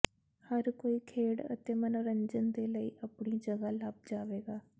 ਹਰ ਕੋਈ ਖੇਡ ਅਤੇ ਮਨੋਰੰਜਨ ਦੇ ਲਈ ਆਪਣੀ ਜਗ੍ਹਾ ਲੱਭ ਜਾਵੇਗਾ